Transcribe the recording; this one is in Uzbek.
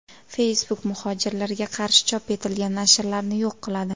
Facebook muhojirlarga qarshi chop etilgan nashrlarni yo‘q qiladi.